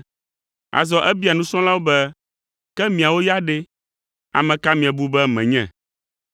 Azɔ ebia nusrɔ̃lawo be, “Ke miawo ya ɖe, ame ka miebu be menye?”